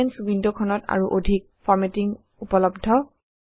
elements ৱিণ্ডখনত আৰু অধিক ফৰমেটিং উপলভ্য